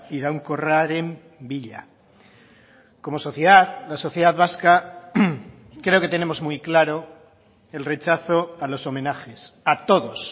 iraunkorraren bila como sociedad la sociedad vasca creo que tenemos muy claro el rechazo a los homenajes a todos